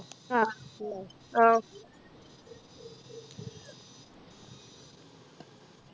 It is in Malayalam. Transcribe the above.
ആഹ് ആഹ്